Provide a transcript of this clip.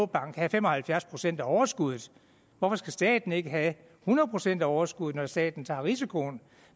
bank have fem og halvfjerds procent af overskuddet hvorfor skal staten ikke have hundrede procent af overskuddet når staten tager risikoen